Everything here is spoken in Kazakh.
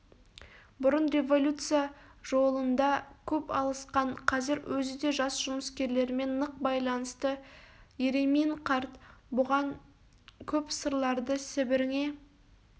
бұрын революция жолында көп алысқан қазір өзі де жас жұмыскерлермен нық байланысты еремин қарт бұған көп сырларды сібіріңе